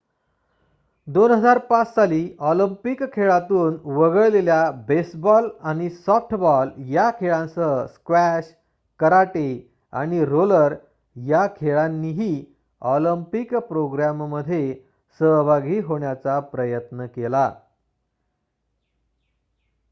२००५ साली ऑलिम्पिक खेळांतून वगळलेल्या बेसबॉल आणि सॉफ्टबॉल या खेळांसह स्क्वॅश कराटे आणि रोलर या खेळांनीही ऑलिम्पिक प्रोग्रॅममध्ये सहभागी होण्याचा प्रयत्न केला